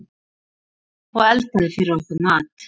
Og eldaði fyrir okkur mat.